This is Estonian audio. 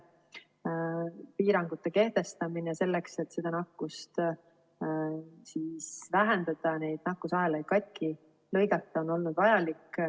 Piirangute kehtestamine, selleks et nakkust vähendada ja nakkusahelaid katki lõigata, on olnud vajalik.